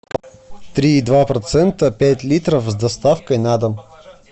три и два процента пять литров с доставкой на дом